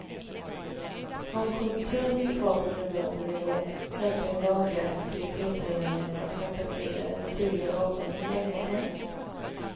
Om konjunkturen ligger kvar på nuvarande nivå räcker den dagliga effektivitetshöjningen för att kompensera den naturliga avgången länge än.